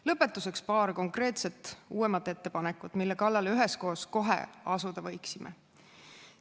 Lõpetuseks paar konkreetset uuemat ettepanekut, mille kallale üheskoos kohe asuda võiksime.